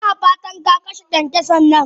Ina fata kaka she kyankyasan nan?